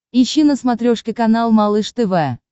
ищи на смотрешке канал малыш тв